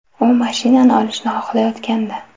U mashinani olishni xohlayotgandi.